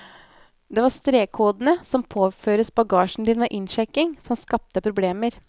Det var strekkodene, som påføres bagasjen din ved innsjekking, som skapte problemer.